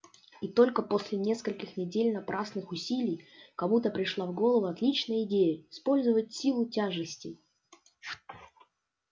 и только после нескольких недель напрасных усилий кому-то пришла в голову отличная идея использовать силу тяжести